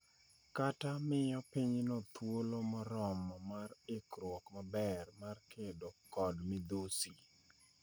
kata miyo pinyno thuolo moromo mar ikruok maber mar kedo kod midhusi.